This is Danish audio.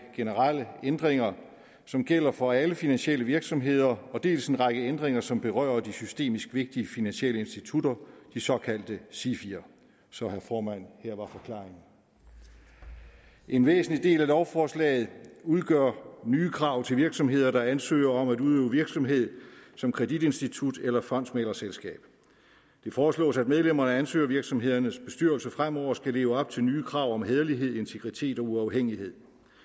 generelle ændringer som gælder for alle finansielle virksomheder dels en række ændringer som berører de systemisk vigtige finansielle institutter de såkaldte sifier så herre formand her var forklaringen en væsentlig del af lovforslaget udgør nye krav til virksomheder der ansøger om at udøve virksomhed som kreditinstitut eller fondsmæglerselskab det foreslås at medlemmer af ansøgervirksomhedernes bestyrelser fremover skal leve op til nye krav om hæderlighed integritet og uafhængighed